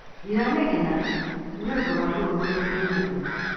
Ndĩranegena niũndũ wa ruo rũrĩa ndĩ naruo